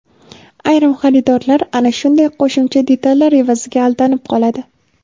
Ayrim xaridorlar ana shunday qo‘shimcha detallar evaziga aldanib qoladi.